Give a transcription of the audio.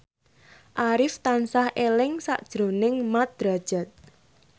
Arif tansah eling sakjroning Mat Drajat